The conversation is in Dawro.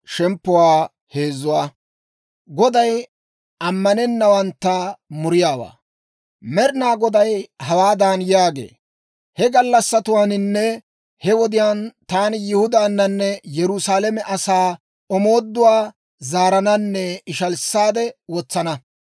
Med'inaa Goday hawaadan yaagee, «He gallassatuwaaninne he wodiyaan taani Yihudaanne Yerusaalame asaa omooduwaa zaarananne ishalissaade wotsana.